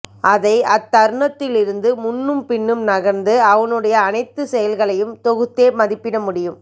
அதை அத்தருணத்தில் இருந்து முன்னும் பின்னும் நகர்ந்து அவனுடைய அனைத்துச்செயல்களையும் தொகுத்தே மதிப்பிடமுடியும்